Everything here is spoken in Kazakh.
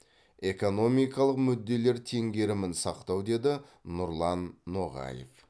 экономикалық мүдделер теңгерімін сақтау деді нұрлан ноғаев